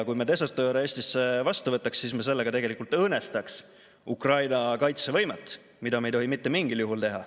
Kui me desertööre Eestisse vastu võtaksime, siis me sellega tegelikult õõnestaks Ukraina kaitsevõimet, aga seda me ei tohi mitte mingil juhul teha.